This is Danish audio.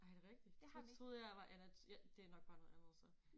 Ej er det rigtig så troede jeg jeg var ja det nok bare noget andet så